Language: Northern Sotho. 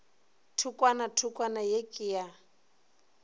thokwana thokwana ye ke ya